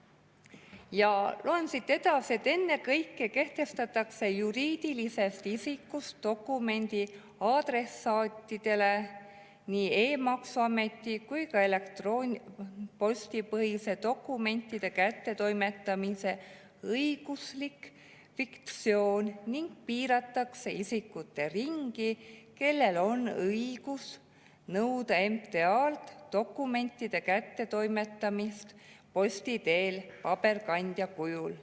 Ja loen siit edasi, et ennekõike kehtestatakse juriidilisest isikust dokumendi adressaatidele nii e‑maksuameti kui ka elektronpostipõhise dokumentide kättetoimetamise õiguslik fiktsioon ning piiratakse isikute ringi, kellel on õigus nõuda MTA‑lt dokumentide kättetoimetamist posti teel paberkandja kujul.